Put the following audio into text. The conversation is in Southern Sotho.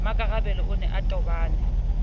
mmakarabelo o ne a tobane